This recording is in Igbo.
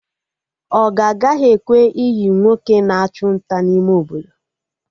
Ogo agaghị ekwe iyi nwoke na achụ nta n'ime Obodo